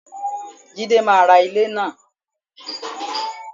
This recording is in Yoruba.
Jide máa ra ilẹ̀ náà